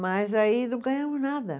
Mas aí não ganhamos nada.